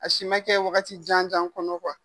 A si ma kɛ wagati jan jan kɔnɔ kuwa